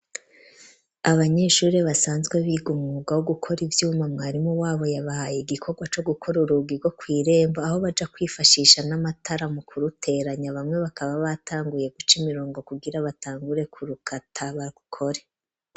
Abanyeshuri basanzwe biga umwuga wo gukora ivyuma mwarimu wabo yabahaye igikorwa co gukora urugi rwo kw'irembo aho baja kwifashisha n'amatara mu ku ruteranya bamwe bakaba batanguye guca imirongo kugira batangure ku rukata barukore.